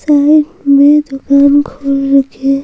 side में दुकान खोल रखे --